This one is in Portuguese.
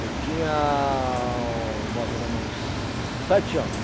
Eu tinha... mais ou menos uns sete anos.